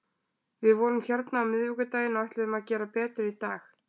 Við vorum hérna á miðvikudaginn og ætluðum að gera betur í dag.